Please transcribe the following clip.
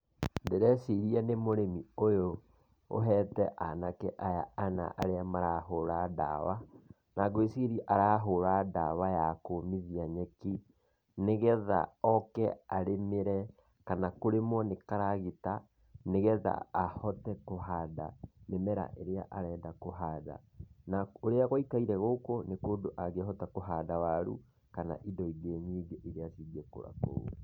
Ndĩreciria nĩ mũrĩmi ũhete anake aya ana arĩa marahũra ndawa, na ngũĩciria arahũra ndawa ya kũũmithia nyeki, nĩgetha oke arĩmĩre kana kũrĩmwo nĩ karagita, nĩgetha ahote kũhanda mĩmera ĩrĩa arenda kũhanda. Na ũrĩa gũikare gũkũ nĩ kũndũ angĩhota kũhanda waru kana indo ingĩ nyingĩ cingĩkũra kũndũ kũu.